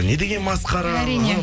не деген масқара әрине